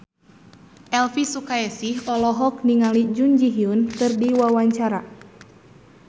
Elvi Sukaesih olohok ningali Jun Ji Hyun keur diwawancara